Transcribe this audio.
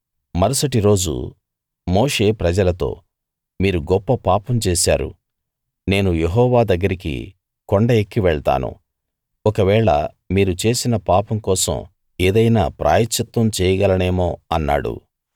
మరుసటి రోజు మోషే ప్రజలతో మీరు గొప్ప పాపం చేశారు నేను యెహోవా దగ్గరికి కొండ ఎక్కి వెళ్తాను ఒకవేళ మీరు చేసిన పాపం కోసం ఏదైనా ప్రాయశ్చిత్తం చేయగలనేమో అన్నాడు